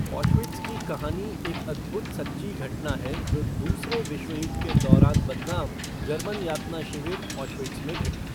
Auschwitz की कहानी एक अद्भुत सच्ची घटना है जो दूसरे विश्वयुद्ध के दौरान बदनाम जर्मन यातना शिविर ऑशविट्ज़ में घटी।